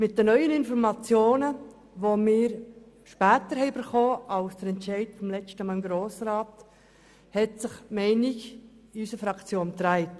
Mit den neuen Informationen, die wir erst nach dem Entscheid im Grossen Rat erhalten haben, hat sich die Meinung in unserer Fraktion gewendet.